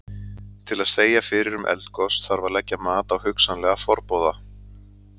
Til að segja fyrir um eldgos þarf að leggja mat á hugsanlega forboða.